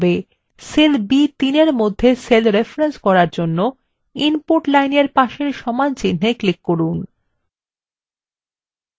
cell b3 মধ্যে cell reference করার জন্য input line এর পাশের সমানচিন্হে click করুন